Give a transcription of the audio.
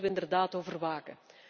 Daar moeten wij inderdaad over waken.